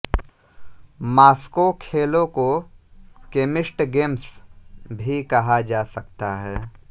Moscow खेलों को केमिस्ट गेम्स भी कहा जा सकता है